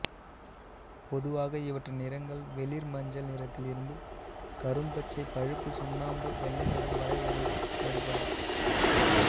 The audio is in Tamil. பொதுவாக இவற்றின் நிறங்கள் வெளிர்மஞ்சள் நிறத்தில் இருந்து கரும்பச்சை பழுப்பு சுண்ணாம்பு வெள்ளை நிறம் வரை வேறுபடும்